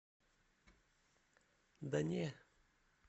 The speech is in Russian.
да не